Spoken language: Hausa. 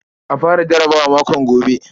A fara jarabawa makon gobe.